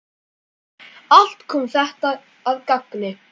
Allt kom þetta að gagni.